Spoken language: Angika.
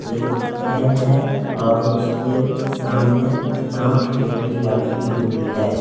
एक फैन है और उसके सामने दानपेटी रखी हुई है।